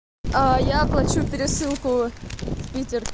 а я оплачу пересылку в питер